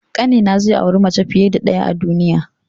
Ƙanina zai auri mace fiye da ɗaya a duniya.